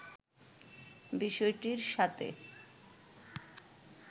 বিষয়টির সাথে